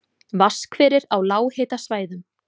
Vatnshverir á lághitasvæðum